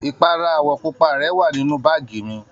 Ipara àwọ̀ pupa rẹ wà nínú báàgì mi